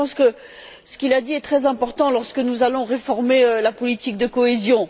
Je pense que ce qu'il a dit est très important lorsque nous allons réformer la politique de cohésion.